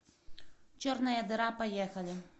черная дыра поехали